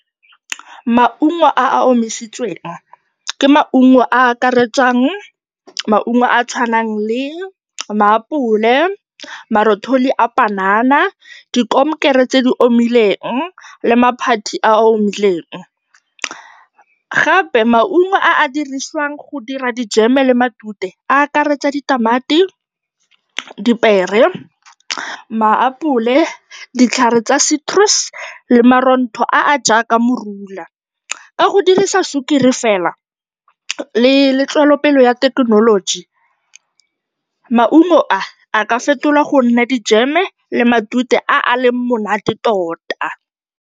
Maungo a a omisitsweng ke maungo a a akaretsang maungo a a tshwanang le maapole, marothodi a panana, dikomkere tse di omileng le maphathi a a omileng. Gape maungo a a dirisiwang go dira dijeme le matute, a akaretsa ditamati, dipiere, maapole, ditlhare tsa citrus le marontho a a jaaka morula. Ka go dirisa sukiri fela le tswelopele ya thekenoloji, maungo a a ka fetolwa go nna dijeme le matute a a leng monate tota.